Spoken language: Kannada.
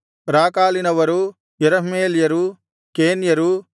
ರಾಕಾಲಿನವರು ಎರಹ್ಮೇಲ್ಯರು ಕೇನ್ಯರು